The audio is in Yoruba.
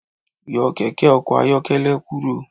Yọ kẹkẹ ọkọ ayọkẹlẹ kuro